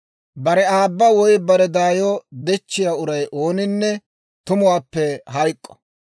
«Bare aabba woy bare daayo dechchiyaa uray ooninne tumuppe hayk'k'o.